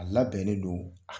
A labɛnnen don a